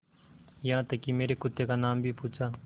यहाँ तक कि मेरे कुत्ते का नाम भी पूछा